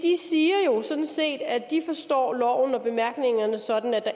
siger jo sådan set at de forstår loven og bemærkningerne sådan at der